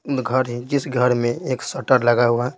घर है जिस घर में एक शटर लगा हुआ है।